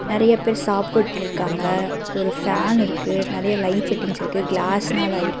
நெறைய பேர் சாப்பிட்டு இருக்காங்க ஒரு ஃபேன் இருக்கு நறைய லைட் செட்டிங்ஸ் இருக்கு கிளாஸ்னால ஆயிருக்கு.